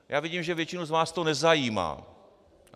Já vidím, že většinu z vás to nezajímá.